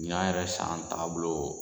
Ɲina yɛrɛ san tagabolo.